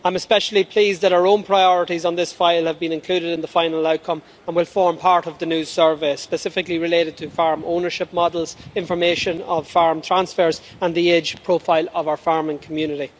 I am especially pleased that our own priorities have been included in the final outcome, and will form part of the new service, specifically in relation to farm ownership models, information on farm transfers and the age profile of our farming community.